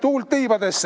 Olge lahked!